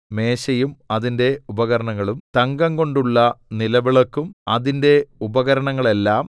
മേശയും അതിന്റെ ഉപകരണങ്ങളും തങ്കംകൊണ്ടുള്ള നിലവിളക്കും അതിന്റെ ഉപകരണങ്ങളെല്ലാം